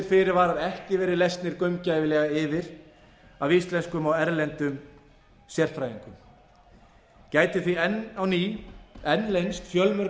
fyrirvarar ekki verið lesnir gaumgæfilega yfir af íslenskum og erlendum sérfræðingum gætu því enn leynst fjölmörg